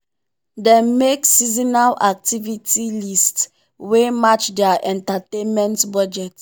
dem make seasonal activity list wey match their entertainment budget.